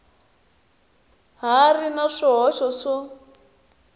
ha ri na swihoxo swo